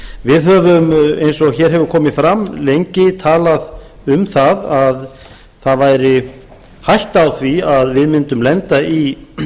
við höfum eins og hér hefur komið fram lengi talað um það að það væri hætta á því að við mundum lenda í